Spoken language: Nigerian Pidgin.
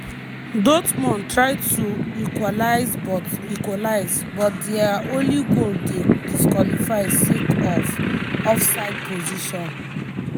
dortmund try to equalise but equalise but dia only goal dey disqualified sake of offside position.